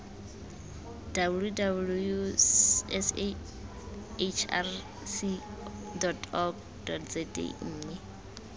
www sahrc org za mme